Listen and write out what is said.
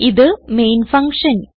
ഇത് main function